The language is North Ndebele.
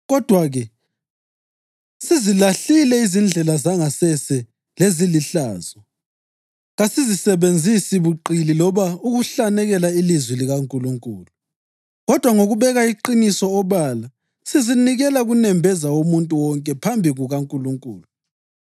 Kodwa-ke sizilahlile izindlela zangasese lezilihlazo; kasisebenzisi buqili loba ukuhlanekela ilizwi likaNkulunkulu. Kodwa ngokubeka iqiniso obala, sizinikela kunembeza womuntu wonke phambi kukaNkulunkulu.